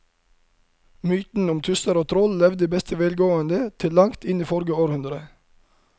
Mytene om tusser og troll levde i beste velgående til langt inn i forrige århundre.